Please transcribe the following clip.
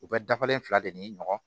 U bɛ dafalen fila de ɲini ɲɔgɔn